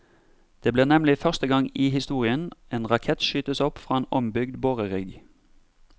Det blir nemlig første gang i historien en rakett skytes opp fra en ombygd borerigg.